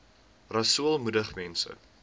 rasool moedig mense